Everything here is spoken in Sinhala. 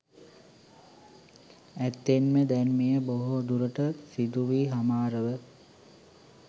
ඇත්තෙන්ම දැන් මෙය බොහෝ දුරට සිදුවී හමාරව